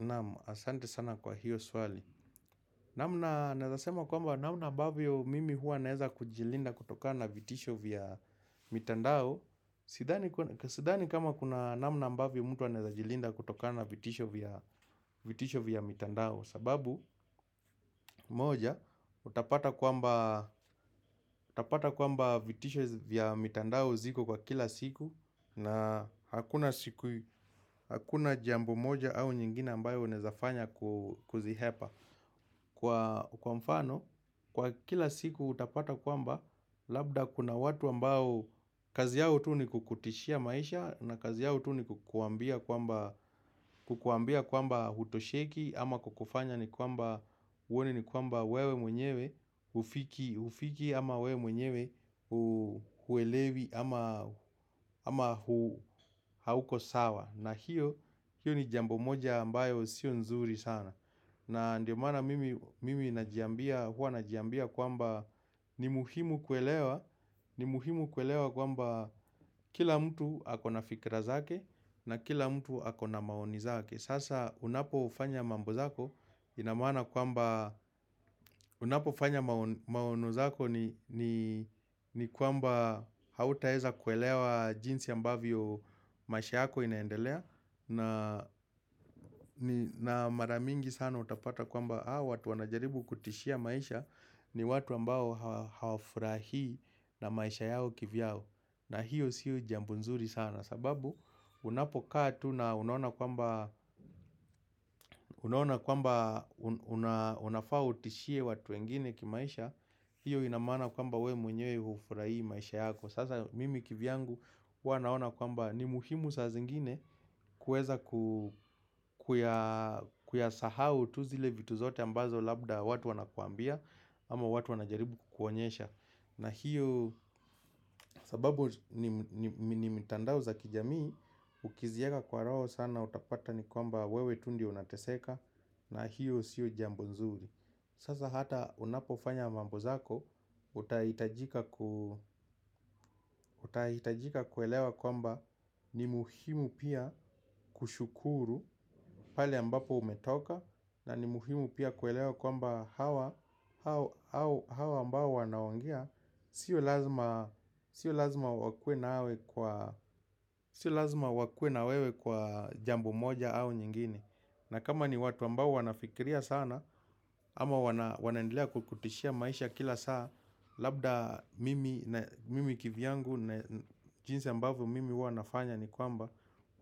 Naam, asante sana kwa hiyo swali namna, naeza sema kwamba naamna abavyo mimi hua naeza kujilinda kutoka na vitisho vya mitandao, sidhani Sidhani kama kuna namna ambavyo mtu anaweza jilinda kutokana vitisho vya mitandao sababu, moja, utapata kwamba vitisho vya mitandao ziko kwa kila siku na hakuna siku hakuna jambo moja au nyingine ambayo unezafanya kuzihepa, kwa Kwa mfano, kwa kila siku utapata kwamba, labda kuna watu ambao kazi yao tu ni kukutishia maisha na kazi yao tu ni kukuambia kwamba, kukuambia kwamba hutosheki ama kukufanya ni kwamba uone ni kwamba wewe mwenyewe hufiki, hufiki ama wewe mwenyewe huelewi ame ama hauko sawa. Na hiyo, hiyo ni jambo moja ambayo sio nzuri sana na ndio maana, mimi, mimi najiambia huwanajiambia kwamba ni muhimu kuelewa ni muhimu kuelewa kwamba kila mtu akona fikira zake na kila mtu akona maoni zake Sasa unapofanya mambozako inamaana kwamba Unapofanya maono zako, ni ni kwamba hautaeza kuelewa jinsi ambavyo maisha yako inaendelea na na mara mingi sana utapata kwamba hao watu wanajaribu kutishia maisha ni watu ambao hawafurahi na maisha yao kivyao na hiyo sio jambo nzuri sana sababu unapokaa tu na unaona kwamba unafaa utishie watu wengine kimaisha hiyo inamaana kwamba we mwenye hufurahi maisha yako Sasa mimi kivyangu huwanaona kwamba ni muhimu saa zingine kueza, ku kuyasahau tu zile vitu zote ambazo labda watu wanakwambia ama watu wanajaribu kukuonyesha na hiyo sababu ni mitandao za kijamii Ukizieka kwa roho sana utapata ni kwamba wewe tu ndio unateseka na hiyo sio jambo nzuri Sasa hata unapofanya mambo zako Utahitajika kuelewa kwamba ni muhimu pia kushukuru pale ambapo umetoka na ni muhimu pia kuelewa kwamba, hawa, hao hawa ambao wanaongea, sio laazima Sio lazima wakue na wewe kwa jambo moja au nyingine na kama ni watu ambao wanafikiria sana ama wanaendelea kukutishia maisha kila saa Labda mimi kivyangu na jinsi ambavyo mimi huwa nafanya ni kwamba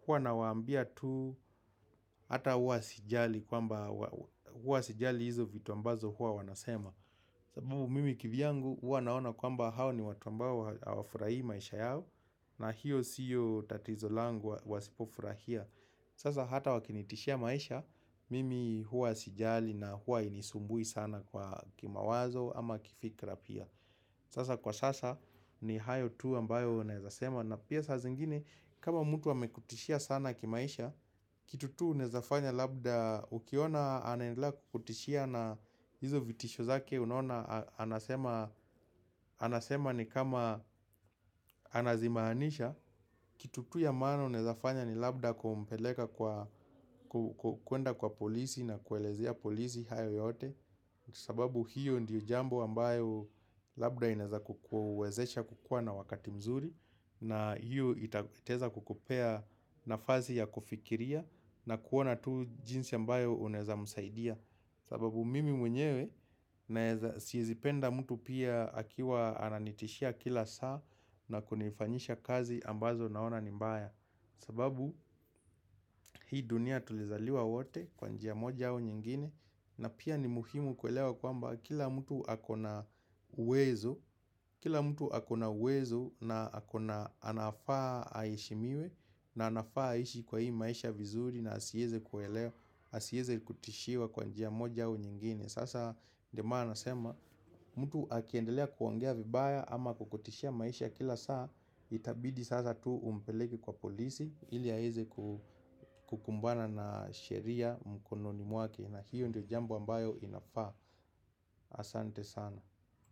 Huwa nawaambia tu Hata hua sijali kwamba huwasijali hizo vitu ambazo hua wanasema sababu mimi kivyangu huwa naona kwamba hao ni watu ambao hawafurahi maisha yao na hiyo siyo tatizo langu wasipofurahia Sasa hata wakinitishia maisha Mimi huwa sijali na huwa inisumbui sana kwa kimawazo ama kifikra pia Sasa kwa sasa ni hayo tu ambayo naeza sema na pia saa zingine kama mtu amekutishia sana kimaisha Kitu tu unezafanya labda ukiona anendelea kukutishia na hizo vitisho zake unona anasema Anasema ni kama anazimaanisha Kitu tu ya maana unezafanya ni labda kumpeleka kwa, kwenda kwa polisi na kuelezea polisi hayo yote sababu hiyo ndiyo jambo ambayo labda ineza kukuwezesha kukuwa na wakati mzuri na hiyo itaeza kukupea nafasi ya kufikiria na kuona tu jinsi ambayo uneza msaidia sababu mimi mwenyewe naeza siezipenda mtu pia akiwa ananitishia kila saa na kunifanyisha kazi ambazo naona ni mbaya sababu hii dunia tulizaliwa wote kwa njia moja au nyingine na pia ni muhimu kuelewa kwamba kila mtu akona uwezo Kila mtu akona uwezo na akona anafaa aheshimiwe na anafaa aishi kwa hii maisha vizuri na asieze kuelewa Asieze kutishiwa kwa njia moja au nyingine Sasa ndio maana nasema mtu akiendelea kuongea vibaya ama kukutishia maisha kila saa Itabidi sasa tu umpeleke kwa polisi ili aeze ku kukumbana na sheria mkononi mwake na hiyo ndio jambo ambayo inafaa Asante sana.